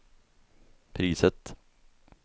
priset